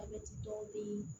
A bɛ dɔw bɛ yen